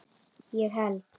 ég held